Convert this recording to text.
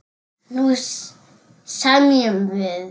Nú semjum við!